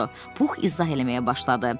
Pux izah eləməyə başladı.